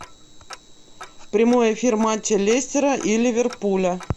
в прямой эфир матча лестера и ливерпуля